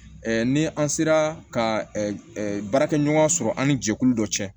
ni an sera ka ɛ baarakɛɲɔgɔn sɔrɔ an ni jɛkulu dɔ cɛ